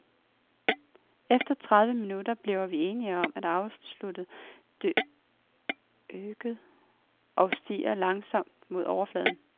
Efter tredive minutter bliver vi enige om et afslutte dykket og stiger langsomt mod overfladen.